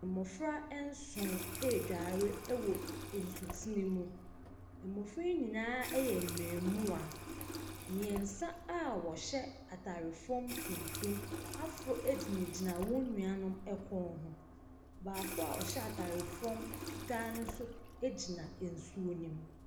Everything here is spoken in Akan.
Mmɔfra nson redware wɔ nsutene mu. Mmɔfra yi nyinaa yɛ mmaamua. Mmeɛnsa a wɔhyɛ atare fam tuntum aforo gyinagyina wɔn nuanom kɔn ho. Baako a ɔhyɛ atare fam fitaa no nso gyina nsuo no mu.